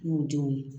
N'u denw ye